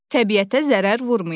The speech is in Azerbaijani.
Təbiətə zərər vurmayaq.